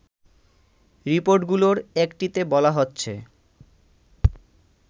রিপোর্টগুলোর একটিতে বলা হচ্ছে